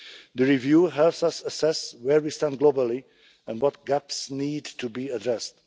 The review helps us assess where we stand globally and what gaps need to be addressed.